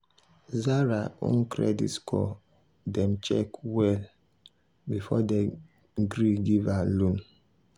zara own credit score dem check well before dem gree give her loan.